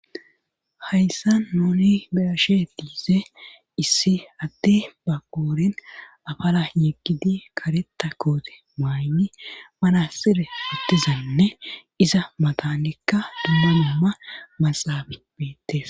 Hayssa nooni beashe diise issi atti ba qooren afala yeggidi kareta koote maaynni mana sire hittizanne iza matanekka dummunumma maxaafi beettes.